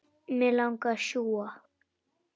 Mig langar að sjúga.